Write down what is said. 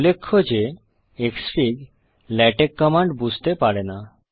উল্লেখ্য যে xfig LaTeX command বুঝতে পারে না